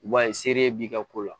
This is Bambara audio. I b'a ye sere b'i ka ko la